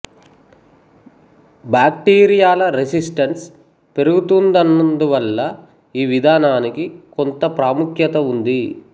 బాక్టీరియాల resistance పెరుగుతున్నందువల్ల ఈ విధానానికి కొంత ప్రాముఖ్యత ఉంది